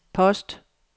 post